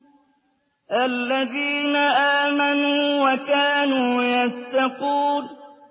الَّذِينَ آمَنُوا وَكَانُوا يَتَّقُونَ